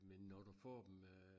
Men når du får dem øh